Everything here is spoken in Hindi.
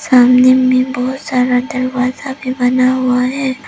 सामने में बहोत सारा दरवाजा भी बना हुआ है।